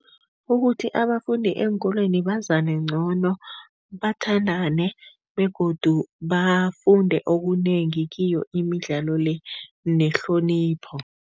Ukuthi abafundi eenkolweni bazane ngcono, bathandane begodu bafunde okunengi kiyo imidlalo le nehlonipho.